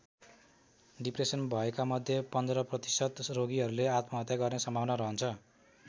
Depression भएका मध्ये १५ प्रतिशत रोगीहरूले आत्महत्या गर्ने सम्भावना रहन्छ।